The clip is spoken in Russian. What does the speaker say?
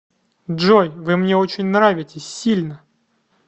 джой вы мне очень нравитесь сильно